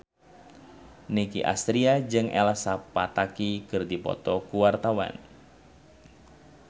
Nicky Astria jeung Elsa Pataky keur dipoto ku wartawan